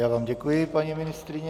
Já vám děkuji, paní ministryně.